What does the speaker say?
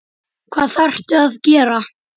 Hvað þarftu að gera?